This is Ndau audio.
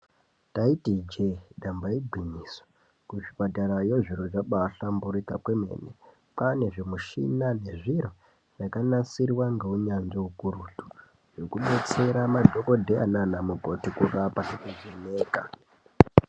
Taiti ijee damba igwinyiso kuzvipatarayo zviro zvabaahlamburika kwemene kwaane zvimushina nezviro zvakanasirwa ngeunyanzvi ukurutu zvekudetsera anadhokodheya nana mukoti kurapa nekuvheneka.